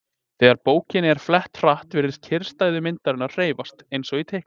Þegar bókinni er flett hratt virðast kyrrstæðu myndirnar hreyfast, eins og í teiknimyndum.